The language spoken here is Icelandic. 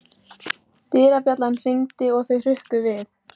Dyrabjallan hringdi og þau hrukku við.